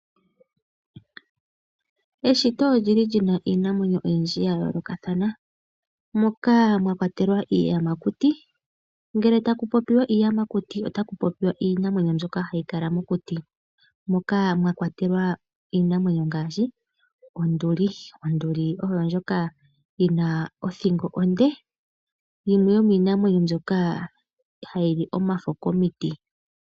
Eshito olyi li lyi na iinamwenyo oyindji ya yoolokathana moka mwa kwatelwa iiyamakuti. Ngele taku popiwa iiyamakuti , otaku popiwa iinamwenyo mbyoka hayi kala mokuti moka mwa kwatelwa iinamwenyo ngaashi onduli. Onduli oshinamwenyo shoka shi na othingo onde yimwe yomiinamwenyo mbyoka ha yi omafo komiti.